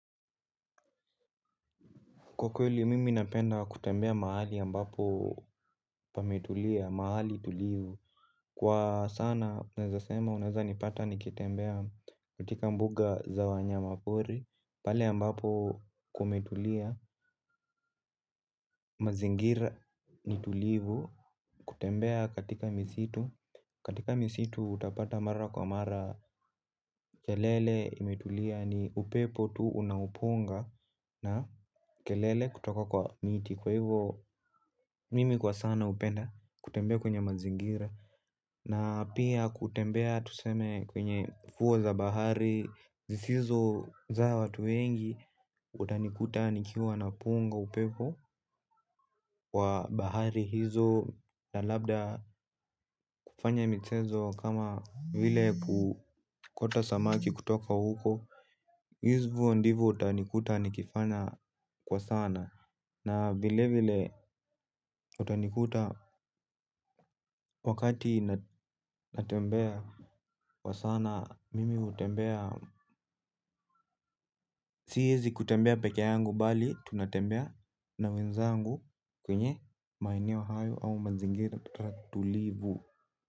Kwa kweli, mimi napenda kutembea mahali ambapo pametulia, mahali tulivu. Kwa sana, unaeza sema, unaeza nipata nikitembea katika mbuga za wanyama pori. Pale ambapo kumetulia, mazingira ni tulivu, kutembea katika misitu. Katika misitu, utapata mara kwa mara kelele imetulia ni upepo tu unaupunga na kelele kutoka kwa miti. Kwa hivyo, mimi kwa sana hupenda kutembea kwenye mazingira, na pia kutembea tuseme kwenye fuo za bahari zisizo za watu wengi. Utanikuta nikiwa napunga upepo. Kwa bahari hizo na labda kufanya mchezo kama vile kuokota samaki kutoka huko. Hivyo ndivyo utanikuta nikifanya kwa sana. Na vile vile utanikuta wakati natembea kwa sana mimi hutembea. Siwezi kutembea peke yangu bali tunatembea na wenzangu kwenye maeneo hayo au mazingira tulivu.